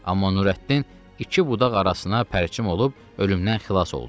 Amma Nurəddin iki budaq arasına pərçim olub ölümdən xilas oldu.